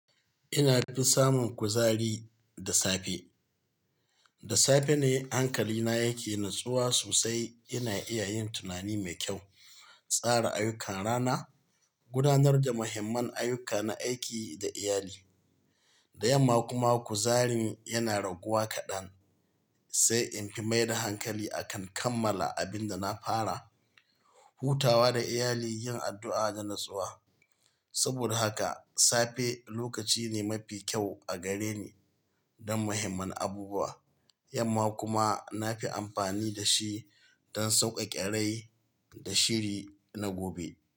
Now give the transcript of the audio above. Ina fi samun kuzari da safe. Da safe ne hankali na yake natsuwa sosai, ina iya yin tunani mai kyau, tsara ayyukan rana, gudanar da muhimman ayyuka na aiki da iyali. Da yamma kuma kuzari na yana raguwa kaɗan, sai in fi mai da hankali a kan kammala abin da na fara, hutawa da iyali, yin addu'a da natsuwa. Saboda haka safe lokaci ne mafi kyau a gare ni don muhimman abubuwa, yamma kuma na fi amfani da shi don sauƙaƙe rai da shiri na gobe.